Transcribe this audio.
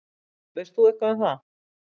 Veist þú eitthvað um það?